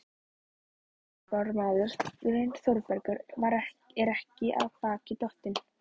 En þrætubókarmaðurinn Þórbergur er ekki af baki dottinn.